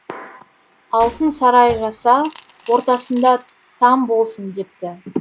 алтын сарай жаса ортасында там болсын депті